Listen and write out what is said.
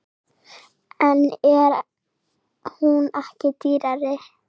En er hún ekki dýrari?